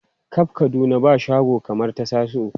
Kab Kaduna ba shago kamar ta Tasiu.